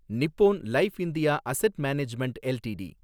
Nippon life India asset management LTD